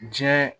Diɲɛ